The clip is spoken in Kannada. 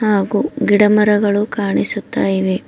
ಹಾಗೂ ಗಿಡ ಮರಗಳು ಕಾಣಿಸುತ್ತಾ ಇವೆ.